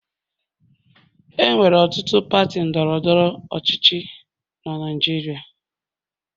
Enwere ọtụtụ pati ndọrọ ndọrọ ọchịchị na Naịjirịa